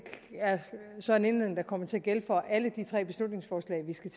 er så en indledning der kommer til at gælde for alle tre beslutningsforslag vi skal